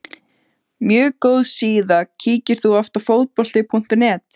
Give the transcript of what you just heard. mjög góð síða Kíkir þú oft á Fótbolti.net?